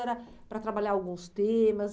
Era para trabalhar alguns temas?